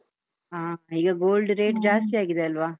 ಹಾ, ಈಗ gold rate ಜಾಸ್ತಿಯಾಗಿದೆ ಅಲ್ವಾ?